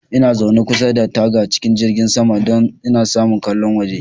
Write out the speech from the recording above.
Ina zaune kusa da taga cikin jirgin saman, don in samu ƙallon waje.